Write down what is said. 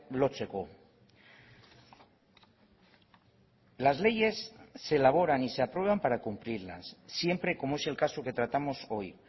lotzeko las leyes se elaboran y se aprueban para cumplirlas siempre como es el caso que tratamos hoy